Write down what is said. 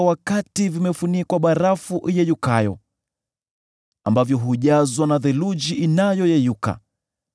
wakati vimefunikwa barafu iyeyukayo, ambavyo hujazwa na theluji inayoyeyuka,